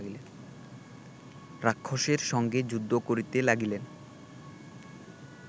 রাক্ষসের সঙ্গে যুদ্ধ করিতে লাগিলেন